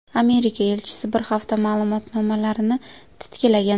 Amerika elchisi bir hafta ma’lumotnomalarni titkilagan.